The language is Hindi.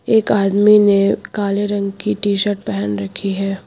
एक आदमी ने काले रंग की टी शर्ट पहन रखी है।